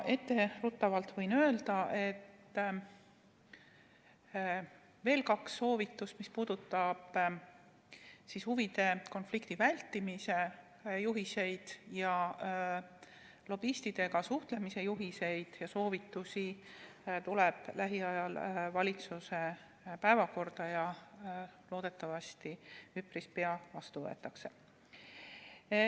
Etteruttavalt võin öelda, et veel kaks soovitust – üks puudutab huvide konflikti vältimise juhiseid ning teine lobistidega suhtlemise juhiseid ja soovitusi – tuleb lähiajal valitsuses päevakorda ja loodetavasti üpris pea võetakse need vastu.